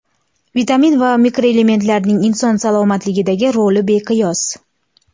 Vitamin va mikroelementlarning inson salomatligidagi roli beqiyos.